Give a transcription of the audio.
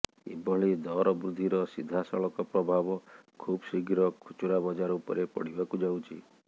ଏଭଳି ଦରବୃଦ୍ଧିର ସିଧାସଳଖ ପ୍ରଭାବ ଖୁବଶୀଘ୍ର ଖୁଚୁରା ବଜାର ଉପରେ ପଡିବାକୁ ଯାଉଛି